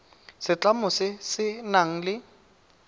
setlamo se se nang le